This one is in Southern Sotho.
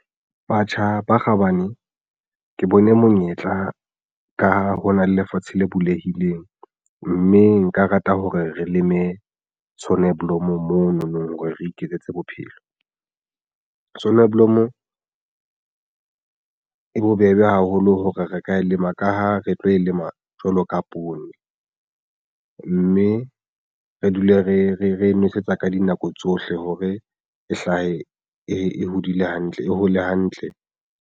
Batjha ba kgabane ke bone monyetla ka ho na le lefatshe le bulehileng mme nka rata hore re leme sonneblom mononong hore re iketsetse bophelo sonneblom e bobebe haholo hore re ka lema ka ha re tlo e lema jwalo ka poone, mme re dule re nwesetsa ka dinako tsohle hore e hlahe e hodile hantle e hole hantle.